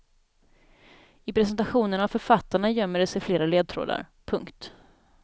I presentationerna av författarna gömmer det sig flera ledtrådar. punkt